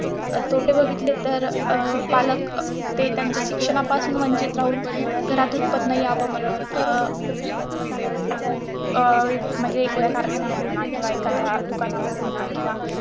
तोटे बघितले तर अं बालक ते त्यांच्या शिक्षणापासून वंचित राहून घरात उत्त्पन्न यावं म्हणून अं अं म्हणजे एखाद्या कारखान्यामध्ये म्हणा किंवा एखाद्या दुकानांमध्ये म्हणा किंवा